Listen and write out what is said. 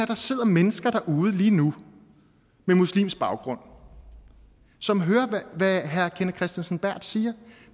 der sidder mennesker derude lige nu med muslimsk baggrund som hører hvad herre kenneth kristensen berth siger